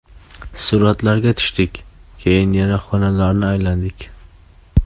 Suratlarga tushdik, keyin yana xonalarni aylandik.